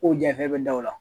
K'o janfa i bɛ da o la